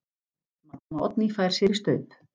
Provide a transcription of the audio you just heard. Maddama Oddný fær sér í staup.